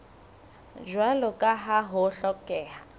jwalo ka ha ho hlokeha